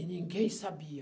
E ninguém sabia.